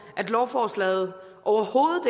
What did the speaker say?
at lovforslaget overhovedet